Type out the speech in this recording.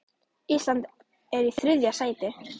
Ísland er í þriðja sæti.